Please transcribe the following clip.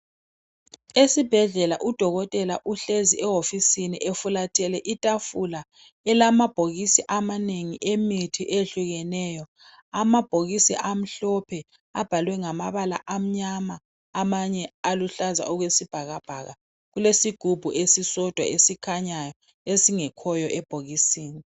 Esibhedlela udokotela uhlezi ehofisini efulathele itafula ,elamabhokisi amanengi emithi eyehlukeneyo. Amabhokisi amhlophe abhalwe ngamabala amnyama amanye aluhlaza okwesibhakabhaka. Kulesigubhu esisodwa esikhanyayo esingekhoyo ebhokisini.